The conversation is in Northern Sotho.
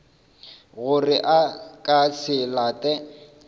gore a ka se late